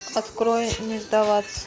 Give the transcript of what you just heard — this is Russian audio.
открой не сдаваться